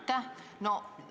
Aitäh!